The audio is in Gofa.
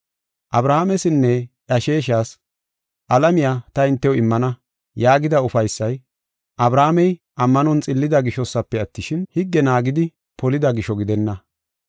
Abrahaamesinne iya sheeshas, “Alamiya ta hintew immana” yaagida ufaysay, Abrahaamey ammanon xillida gishosafe attishin, higge naagidi polida gisho gidenna.